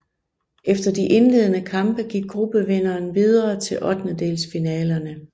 Efter de indledende kampe gik gruppevinderen videre til ottendedelsfinalerne